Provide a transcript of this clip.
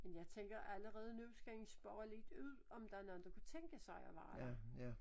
Men jeg tænker allerede nu skal I spørge lidt ud om der er nogen der kunne tænke sig at være der